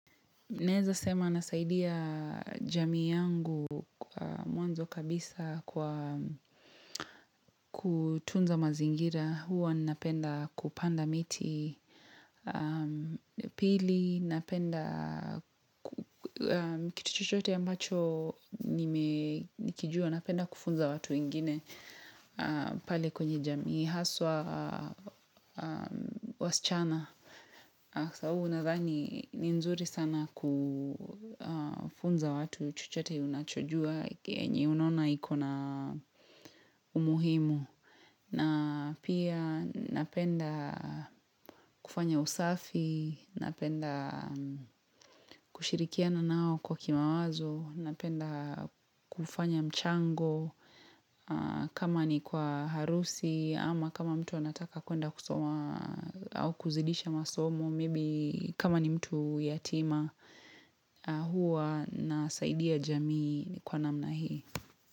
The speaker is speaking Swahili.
Naweza sema nasaidia jamii yangu mwanzo kabisa kwa kutunza mazingira huwa napenda kupanda miti pili, napenda kituchochote mbacho nikijua napenda kufunza watu wengine pale kwenye jamii haswa wasichana. Kwasababu unadhani ni nzuri sana kufunza watu chochote unachojua yenye unona ikonaumuhimu na pia napenda kufanya usafi Napenda kushirikiana nao kwa kimawazo Napenda kufanya mchango kama ni kwa harusi Ama kama mtu anataka kuenda kusoma au kuzidisha masomo maybe kama ni mtu yatima huwa nasaidia jamii ni kwa namna hii.